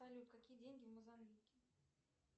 салют какие деньги в мозамбике